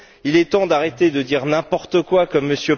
Il est temps d'arrêter de dire n'importe quoi comme M.